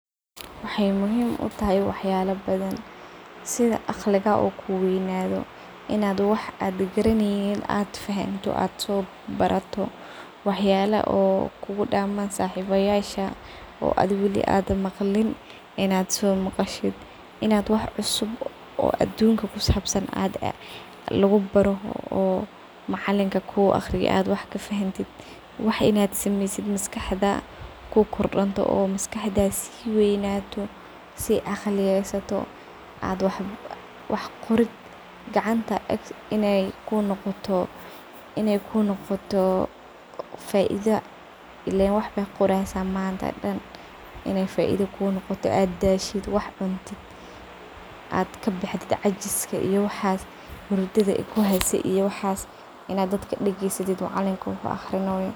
Wexey muhiim utahay wax bdan sida aqliga ii kuweynayo oo wax badan fahanto waxyalo oo kugudaman saxibada oo wali ad maqlin ad maqasho inad wax cusub oo adunka kusabsan lugubaro. Wax in ad samesid oo maskaxda kukordontoo oo maskaxda sii weynayo ad wax qorid gacanta in ey kunoqoto faido ilen waxbad qoreysa mante daan oo cajiska iyo hurdada kabxdo oo macalinka dageysatid.